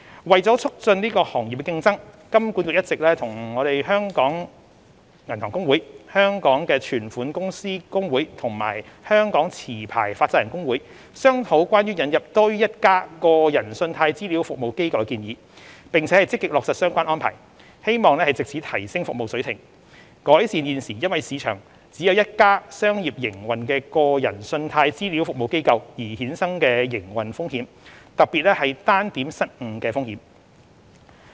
為促進行業競爭，金管局一直與香港銀行公會、香港存款公司公會和香港持牌放債人公會商討關於引入多於一家個人信貸資料服務機構的建議，並積極落實相關安排，希望藉此提升服務水平，改善現時因市場只有一家商業營運的個人信貸資料服務機構而衍生的營運風險，特別是單點失誤的風險。